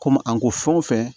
Komi an ko fɛn o fɛn